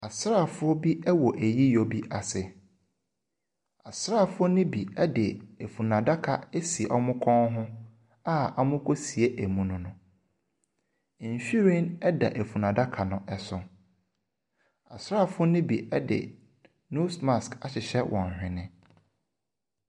Asrafo bi wɔ ayiyɔ ase. Asrafo no bi de funu daka asi wɔ kɔn a wɔrekɔsie emu no. Nhwiren da fundaka no ho. Asrafo no bi de nose mask ahyehyɛ wɔ nhwene.